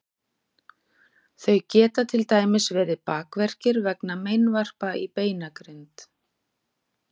þau geta til dæmis verið bakverkir vegna meinvarpa í beinagrind